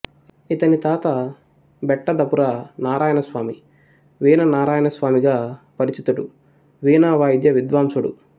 ఇతని తాత బెట్టదపుర నారాయణస్వామి వీణ నారాయణస్వామిగా పరిచితుడు వీణావాయిద్య విద్వాంసుడు